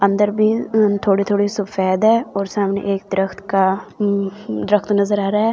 अंदर भी अम थोड़े-थोड़े सफेद है और सामने एक दरख़्त का दरख़्त नजर आ रहा है ।